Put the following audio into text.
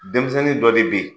Denmisɛnnin dɔ de bɛ yen